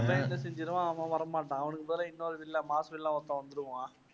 அவன் வர மாட்டான். அவனுக்கு பதிலா இன்னொரு villain mass villain ஒருத்தன் வந்துடுவான்.